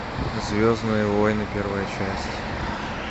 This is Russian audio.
звездные войны первая часть